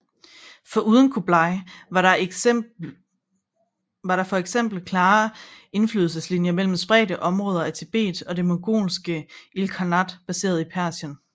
Foruden Kublai var der for eksempel klare indflydelseslinjer mellem spredte områder af Tibet og det mongolske ilkhanat baseret i Persien